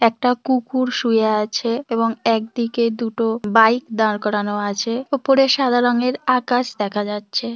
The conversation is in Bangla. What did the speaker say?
একটা কুকুর শুয়ে আছে এবং একদিকে দুটো বাইক দাঁড় করানো আছে উপরে সাদা রঙের আকাশ দেখা যাচ্ছে।